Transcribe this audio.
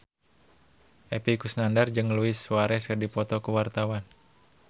Epy Kusnandar jeung Luis Suarez keur dipoto ku wartawan